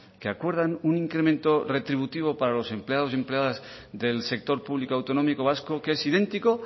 que acuerdan un incremento retributivo para los empleados y empleadas del sector público autonómico vasco que es idéntico